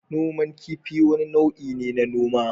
Noman kifi wani nau'i ne na noma.